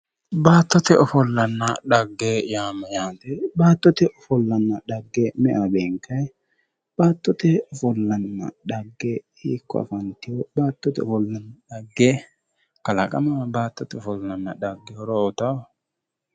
Baattote ofollanna dhagge yaa mayyaate baattote ofollanna dhagge me"ewa beenkayi baattote ofollanna dhagge hiikko afanteyo baattote ofollanna dhagge kalamaho horo uyitao baattote ofollanna dhagge